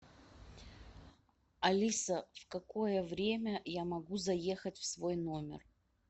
алиса в какое время я могу заехать в свой номер